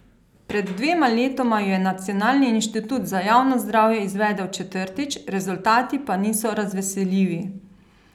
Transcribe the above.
Pred dvema letoma jo je Nacionalni inštitut za javno zdravje izvedel četrtič, rezultati pa niso razveseljivi.